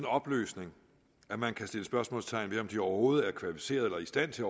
opløsning at man kan sætte spørgsmålstegn ved om de overhovedet er kvalificerede eller i stand til